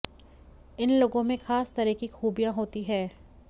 इन लोगों में खास तरह की खूबियां होती हैं